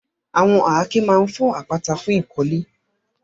Àwọn àáké máa ń fọ́ àpáta fún ìkọ́lé.